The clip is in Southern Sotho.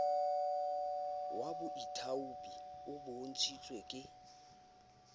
wa boithaopi o bontshitsweng ke